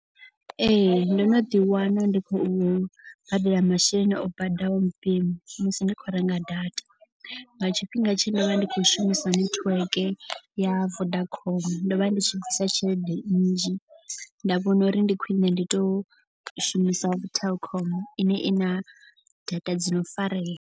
Ee ndo no ḓi wana ndi khou badela masheleni o baḓaho mpimo musi ndi khou renga data. Nga tshifhinga tshe nda vha ndi khou shumisa nethiweke ya Vodacom. Ndo vha ndi tshi bvisa tshelede nnzhi nda vhona uri ndi khwine ndi to shumisa Telkom ine i na data dzi no fareya.